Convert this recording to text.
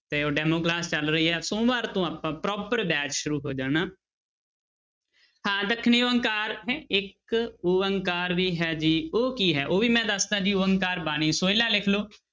ਤੇ ਉਹ demo class ਚੱਲ ਰਹੀ ਆ ਸੋਮਵਾਰ ਤੋਂ ਆਪਾਂ proper batch ਸ਼ੁਰੂ ਹੋ ਜਾਣਾ ਹਾਂ ਦੱਖਣੀ ਓਅੰਕਾਰ ਹੈਂ ਏਕਓਅੰਕਾਰ ਵੀ ਹੈ ਜੀ ਉਹ ਕੀ ਹੈ, ਉਹ ਵੀ ਮੈਂ ਦੱਸਦਾਂਂ ਜੀ ਓਅੰਕਾਰ ਬਾਣੀ ਸੋਹਿਲਾ ਲਿਖ ਲਓ,